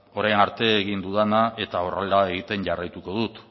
orain arte egin dudana eta horrela egiten jarraituko dut